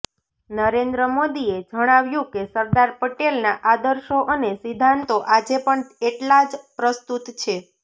નરેન્દ્ર મોદીએ જણાવ્યું કે સરદાર પટેલના આદર્શો અને સિધ્ધાંતો આજે પણ એટલા જ પ્રસ્તૃત છે